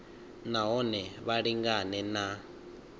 na hone vha lingane na